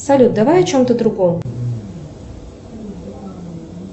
салют давай о чем то другом